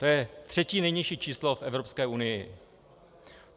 To je třetí nejnižší číslo v Evropské unii.